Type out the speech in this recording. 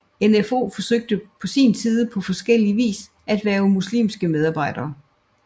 NfO forsøgte på sin side på forskellie vis at hverve muslimske medarbejdere